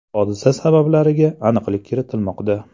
Hodisa sabablariga aniqlik kiritilmoqda.